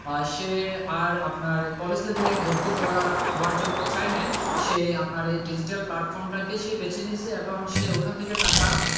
সে আর আপনার college level এ ভর্তি হওয়ার জন্য চাই নাই সে আপনার এই digital platform টা কে বেছে নিয়েছে সে ওখান থেকে টাকা,